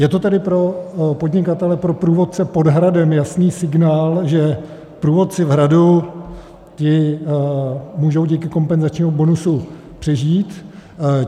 Je to tedy pro podnikatele, pro průvodce pod hradem jasný signál, že průvodci v hradu, ti můžou díky kompenzačnímu bonusu přežít.